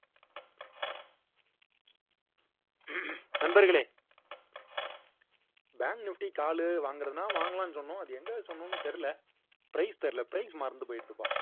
நண்பர்களே bank nifty க்கு ஆளு வாங்குறதுன்னா வாங்கலாம்னு சொன்னோம் அது எங்க சொன்னோன்னு தெரியல price தெரியல price மறந்து போயிடுதுப்பா